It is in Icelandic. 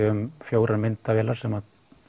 um fjórar myndavélar sem